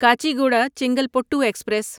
Kacheguda Chengalpattu express